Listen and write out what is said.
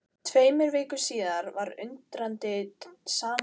Tveimur vikum síðar var undirritaður samningur við Ríkisútgáfu námsbóka.